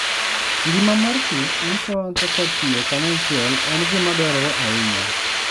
Ngima mar kich nyisowa kaka tiyo kanyachiel en gima dwarore ahinya.